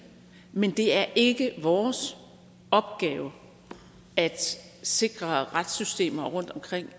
men det er ikke vores opgave at sikre retssystemer rundtomkring